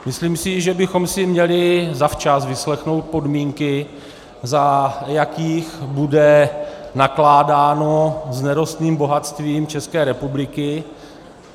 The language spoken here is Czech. Myslím si, že bychom si měli zavčas vyslechnout podmínky, za jakých bude nakládáno s nerostným bohatstvím České republiky.